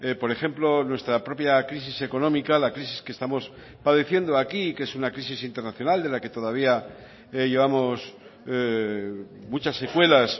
por ejemplo nuestra propia crisis económica la crisis que estamos padeciendo aquí y que es una crisis internacional de la que todavía llevamos muchas secuelas